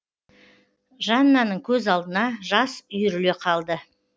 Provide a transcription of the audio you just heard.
жаннаның көз алдына жас үйіріле қалды